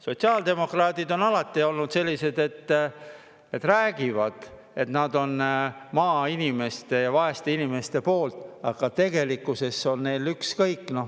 Sotsiaaldemokraadid on alati olnud sellised: nad räägivad, et nad on maainimeste ja vaeste inimeste poolt, aga tegelikkuses on neil ükskõik.